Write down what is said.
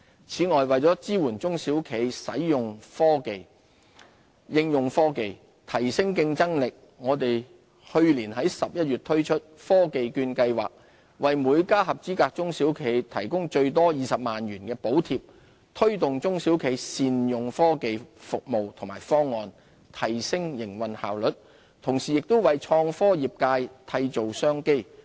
此外，為支援中小企應用科技提升競爭力，我們去年11月推出科技券計劃，為每家合資格中小企提供最多20萬元的補貼，推動中小企善用科技服務及方案，提升營運效率，同時亦為創科業界締造商機。